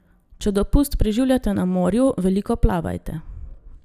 Če dopust preživljate na morju, veliko plavajte.